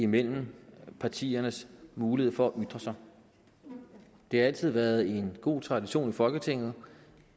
mellem partiernes mulighed for at ytre sig det har altid været en god tradition i folketinget